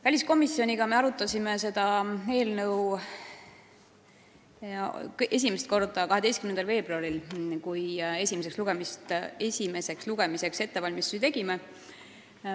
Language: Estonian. Väliskomisjon arutas seda eelnõu esimest korda 12. veebruaril, kui me esimeseks lugemiseks ettevalmistusi tegime.